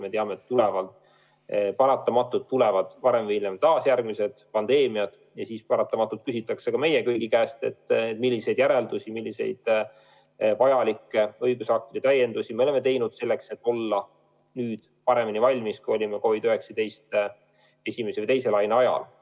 Me teame, et paratamatult tulevad varem või hiljem taas järgmised pandeemiad ja siis paratamatult küsitakse ka meie kõigi käest, milliseid järeldusi, milliseid vajalikke õigusaktide täiendusi me oleme teinud selleks, et olla valmis paremini, kui olime COVID-19 esimese ja teise laine ajal.